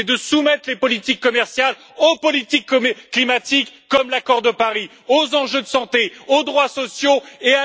C'est de soumettre les politiques commerciales aux politiques climatiques comme l'accord de Paris, aux enjeux de santé, aux droits sociaux et à la démocratie.